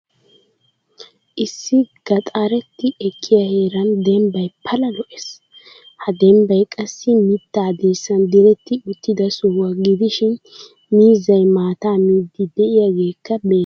Issi gaxaretti ekkiyaa heeran dembbay pala lo'ees. Ha dembbay qassi mitta dirssan diretti uttida sohuwaa gidishin miizzay maataa miidi de'iyagekka beettees.